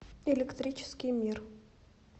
электрический мир